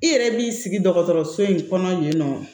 I yɛrɛ b'i sigi dɔgɔtɔrɔso in kɔnɔ yen nɔ